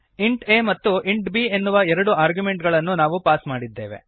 int a ಮತ್ತು int b ಎನ್ನುವ ಎರಡು ಆರ್ಗ್ಯುಮೆಂಟುಗಳನ್ನು ನಾವು ಪಾಸ್ ಮಾಡಿದ್ದೇವೆ